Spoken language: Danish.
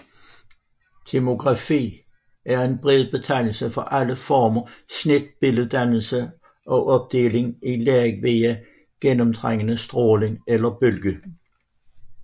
Tomografi er en bred betegnelse for alle former for snitbilleddannelse og opdeling i lag via gennemtrængende stråling eller bølge